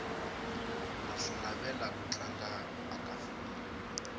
ndza swi navela ku tlanga aka filimu